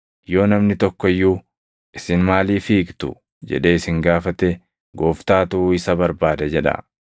Yoo namni tokko iyyuu, ‘Isin maaliif hiiktu?’ jedhee isin gaafate, ‘Gooftaatu isa barbaada’ jedhaa.”